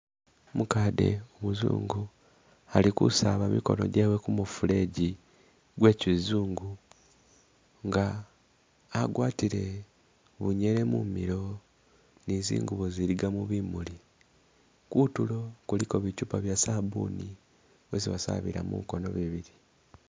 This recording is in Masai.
Umukade umuzungu ali kusaaba jimikono jeewe kumufuleji gwe kizungu nga agwatile bunyele mumilo ne zingubo iziligamo bimuli , kutulo kuliko bichupa bye sabuni mwesi basabila mumikono mibili.